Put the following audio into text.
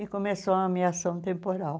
E começou a ameaçar um temporal.